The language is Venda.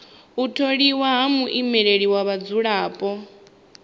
u tholiwa ha muimeleli wa vhadzulapo